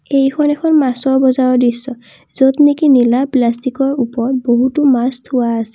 এইখন এখন মাছৰ বজাৰৰ দৃশ্য য'ত নেকি নীলা প্লাষ্টিকৰ ওপৰত বহুতো মাছ থোৱা আছে।